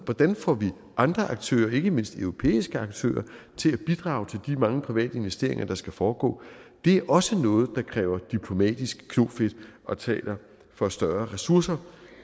hvordan får vi andre aktører ikke mindst europæiske aktører til at bidrage til de mange private investeringer der skal foregå det er også noget der kræver diplomatisk knofedt og taler for større ressourcer